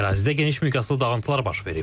Ərazidə geniş miqyaslı dağıntılar baş verib.